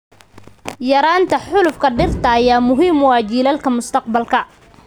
Yaraynta xaalufka dhirta ayaa muhiim u ah jiilalka mustaqbalka.